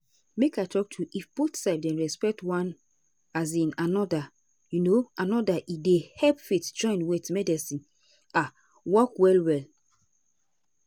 make i talk true if both side dem respect one um anoda um anoda e dey help faith join with medicine um work well well.